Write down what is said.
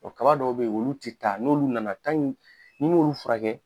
O kaba dɔw be yen olu te taa . N'olu nana ni ye olu furakɛ